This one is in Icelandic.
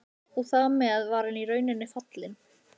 Og þar með var hann í rauninni fallinn.